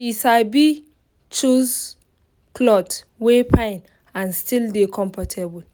she sabi choose cloth wey fine and still dey comfortable